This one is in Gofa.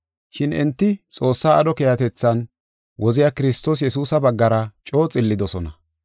Shin enti Xoossaa aadho keehatethan, woziya Kiristoos Yesuusa baggara coo xillidosona.